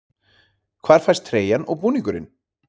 Hvar fæst treyjan og búningurinn?